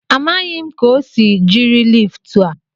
Amaghị m ka o si jiri liftu a.